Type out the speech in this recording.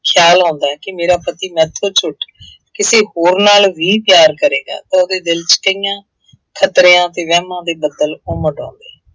ਖਿਆਲ ਆਉਂਦਾ ਹੈ ਕਿ ਮੇਰਾ ਪਤੀ ਮੇਰੇ ਤੋਂ ਛੁੱਟ, ਕਿਸੇ ਹੋਰ ਨਾਲ ਵੀ ਪਿਆਰ ਕਰੇਗਾ, ਉਹਦੇ ਦਿਲ ਚ ਕਈਆਂ ਖਤਰਿਆਂ ਅਤੇ ਵਹਿਮਾਂ ਦੇ ਬੱਦਲ ਉਮੜ ਆਉਣੇ।